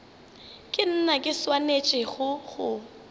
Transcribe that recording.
ke nna ke swanetšego go